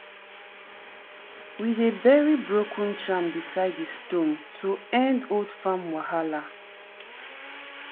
we dey bury broken charm beside di stone to end old farm wahala.